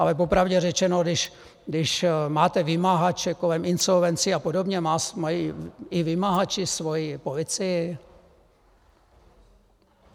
Ale popravdě řečeno, když máte vymahače kolem insolvencí a podobně, mají i vymahači svoji policii?